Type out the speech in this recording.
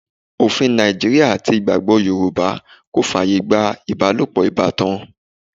Òfin Nàìjíríà àti ìgbàgbọ́ Yorùbá kò fàyè gba ibalopo ìbátan.